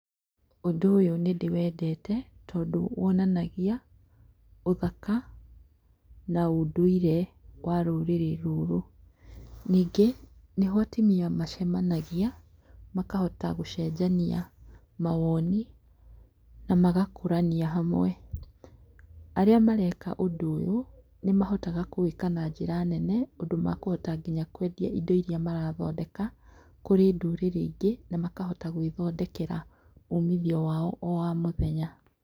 Ũndũ ũyũ nĩ ndĩwendete tondũ wonanagia ũthaka na ũndũire wa rũrĩrĩ rũrũ. Ningĩ nĩho atumĩa macemanagia makahota gũcenjania mawoni na magakũrania hamwe. Arĩa mareka ũndũ ũyũ, nĩ mahotaga kũwĩka na njĩra nene ũndũ makũhota nginya kwendia ĩndo ĩria marathondeka kũrĩ ndũrĩrĩ ĩngĩ na makahota gwĩthondekera umithio wao wa mũthenya.